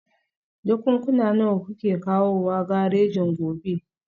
Jakunkuna nawa kuke kawowa garejin gobe?